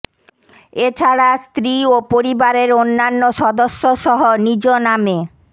এ ছাড়া স্ত্রী ও পরিবারের অন্যান্য সদস্যসহ নিজ নামে